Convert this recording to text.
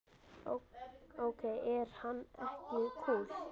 Ok, er hann ekki kúl?